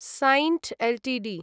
Cyient Ltd